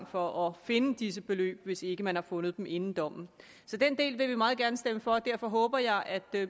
for at finde disse beløb hvis ikke man har fundet dem inden dommen så den del vil vi meget gerne stemme for og derfor håber jeg at